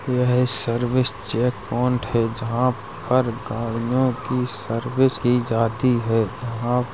यह service check point है। जहाँ पर गाडियों की सर्विस की जाती है। यहाँ --